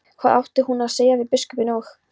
Hvað átti hún að segja við biskupinn og